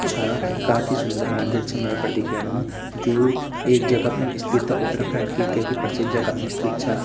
छा काफी सूंदर मंदिर छ मैं ये पर दिखेणु जु एक जगह पर स्थित उत्तराखंड की केकी प्रसिद्ध जगह में स्थित छा।